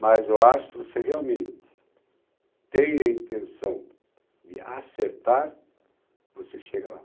Mas eu acho que se você realmente tem a intenção de acertar, você chega lá.